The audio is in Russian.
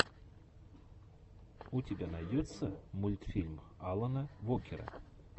у тебя найдется мультфильм алана вокера